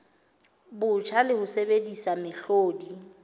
botjha le ho sebedisa mehlodi